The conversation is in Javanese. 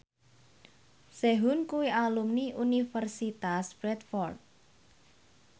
Sehun kuwi alumni Universitas Bradford